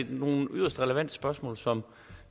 nogle yderst relevante spørgsmål som